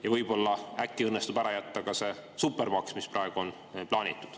Ja võib-olla õnnestub ära jätta ka see supermaks, mis praegu on plaanitud.